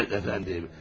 Evet, əfəndim.